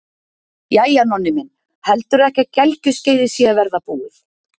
Jæja, Nonni minn, heldurðu ekki að gelgjuskeiðið sé að verða búið?